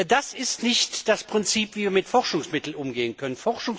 Das ist nicht das Prinzip, wie wir mit Forschungsmitteln umgehen können.